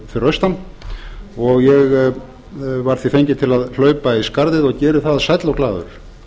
fyrir austan og ég var því fenginn til að hlaupa í skarðið og geri það sæll og glaður